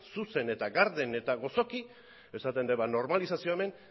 zuzen eta garden eta gozoki esaten dut normalizazioa hemen